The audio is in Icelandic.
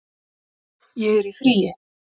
Ég er í fríi